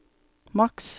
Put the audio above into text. maks